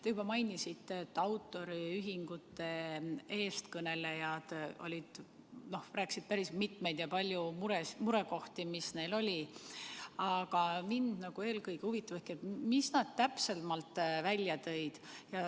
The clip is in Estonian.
Te juba mainisite, et autoriühingute eestkõnelejad rääkisid päris paljudest murekohtadest, mis neil oli, aga mind eelkõige huvitab ikkagi, mis nad täpsemalt välja tõid.